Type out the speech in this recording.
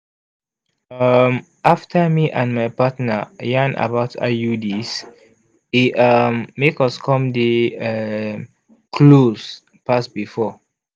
um after me and my partner yarn about iuds e um make us come dey um close pass before.